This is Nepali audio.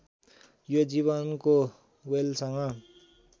यो जीवको ह्वेलसँग